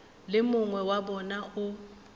le mongwe wa bona o